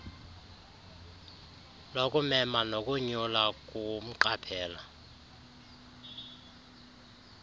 lokumema nokonyula kumqaphela